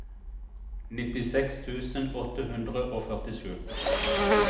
nittiseks tusen åtte hundre og førtisju